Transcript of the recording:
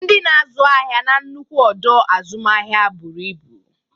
Ndị na-azụ ahịa na nnukwu ọdọ azụmahịa buru ibu.